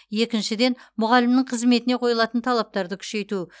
екіншіден мұғалімнің қызметіне қойылатын талаптарды күшейту